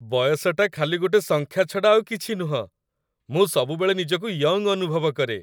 ବୟସଟା ଖାଲି ଗୋଟେ ସଂଖ୍ୟା ଛଡ଼ା ଆଉ କିଛି ନୁହଁ । ମୁଁ ସବୁବେଳେ ନିଜକୁ ୟଙ୍ଗ୍ ଅନୁଭବ କରେ ।